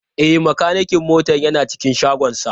E, makanikin mota yana cikin shagonsa.